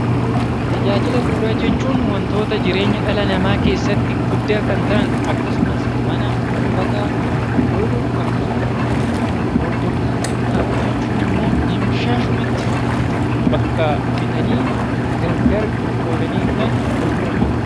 Tajaajila bu'uuraa jechuun wantoota jireenya dhala namaa keessatti guddaa kan ta'an akkasumas mana , uffata yoo ta'u, akkasuma gurgurtaa qinxaaboo jechuun immoo dimshaashumatti bakka bitanii gargar qoodanii kan gurguranidha .